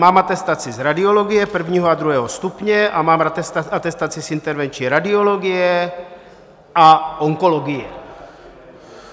Mám atestaci z radiologie I. a II. stupně a mám atestaci z intervenční radiologie a onkologie.